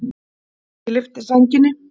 Ég lyfti sænginni.